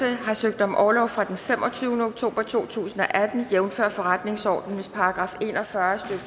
har søgt om orlov fra den femogtyvende oktober to tusind og atten jævnfør forretningsordenens § en og fyrre